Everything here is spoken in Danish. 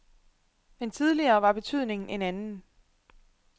Men tidligere var betydningen en anden.